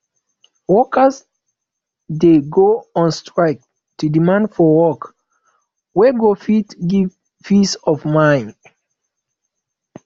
workers de go on strike to demand for work wey go fit give peace of mind